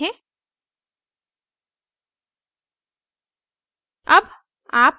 और आउटपुट देखें